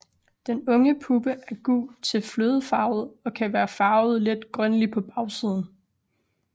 Den unge puppe er gul til flødefarvet og kan være farvet let grønlig på bagsiden